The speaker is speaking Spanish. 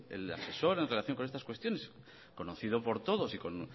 el asesor en relación con estas cuestiones conocido por todos y con